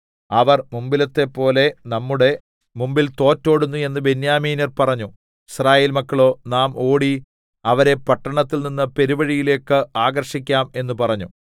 അവർ മുമ്പിലത്തെപ്പോലെ നമ്മുടെ മുമ്പിൽ തോറ്റോടുന്നു എന്ന് ബെന്യാമീന്യർ പറഞ്ഞു യിസ്രായേൽമക്കളോ നാം ഓടി അവരെ പട്ടണത്തിൽനിന്ന് പെരുവഴികളിലേക്ക് ആകർഷിക്കാം എന്ന് പറഞ്ഞു